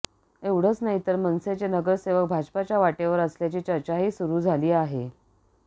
एवढंच नाहीतर मनसेचे नगरसेवक भाजपच्या वाटेवर असल्याची चर्चाही सुरू झाली